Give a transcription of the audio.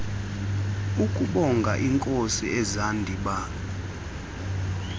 ukubonga iinkosi izihandiba